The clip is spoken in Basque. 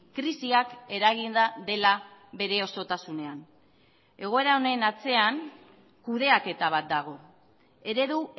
krisiak eraginda dela bere osotasunean egoera honen atzean kudeaketa bat dago eredu